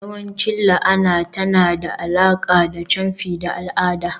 yawanci la'ana tana da alaƙa da camfi da al'ada.